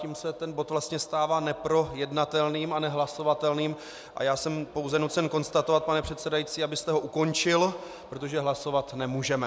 Tím se ten bod vlastně stává neprojednatelným a nehlasovatelným a já jsem pouze nucen konstatovat, pane předsedající, abyste ho ukončil, protože hlasovat nemůžeme.